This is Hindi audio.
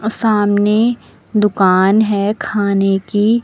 सामने दुकान है खाने की।